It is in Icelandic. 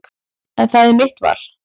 En það er mitt val.